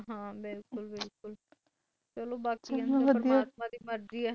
ਬਿਲਕੁਲ ਬਿਲਕੁਲ, ਬਾਕੀ ਪਰਾਤਮਾ ਦੀ ਮਰਜੀ ਹੈ